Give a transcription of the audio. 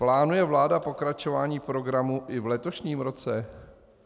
Plánuje vláda pokračování programu i v letošním roce?